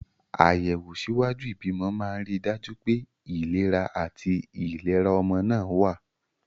Àyẹ̀wò ṣíwájú ìbímọ máa ń rí i dájú pé ìlera àti ìlera ọmọ náà wà.